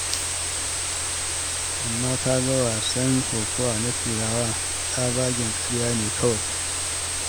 Amma ka ga wasan kokawa na Turawa, tsabagen ƙarya ne kawai.